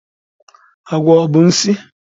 Agwọ ọ bụ nsi?